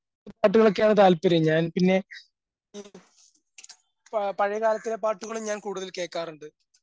പ് പാട്ടുകളൊക്കെയാണ് താല്പര്യം.ഞാൻ പിന്നെ ആ പഴയകാലത്തിലെ പാട്ടുകളും ഞാൻ കേക്കാറുണ്ട്.